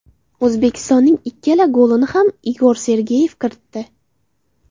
O‘zbekistonning ikkala golini ham Igor Sergeyev kiritdi.